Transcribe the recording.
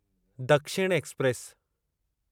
दक्षिण एक्सप्रेस